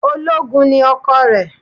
Ológun ni ọkọ rẹ̀